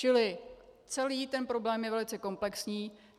Čili celý ten problém je velice komplexní.